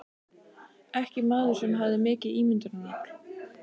Ekki maður sem hafði mikið ímyndunarafl.